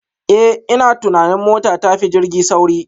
Eh ina tunanin mota tafi jirgi sauri